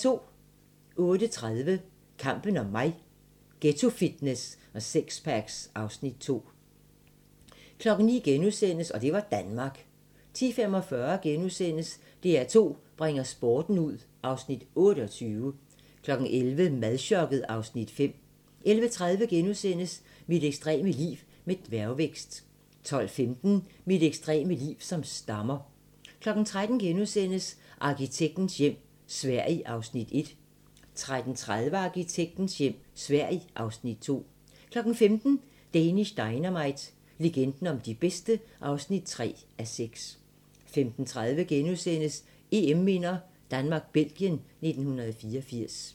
08:30: Kampen om mig – Ghettofitness og sixpacks (Afs. 2) 09:00: Og det var Danmark * 10:45: DR2 bringer sporten ud (Afs. 28)* 11:00: Madchokket (Afs. 5) 11:30: Mit ekstreme liv med dværgvækst * 12:15: Mit ekstreme liv som stammer 13:00: Arkitektens hjem - Sverige (Afs. 1)* 13:30: Arkitektens hjem - Sverige (Afs. 2) 15:00: Danish Dynamite - legenden om de bedste (3:6) 15:30: EM-minder: Danmark-Belgien 1984 *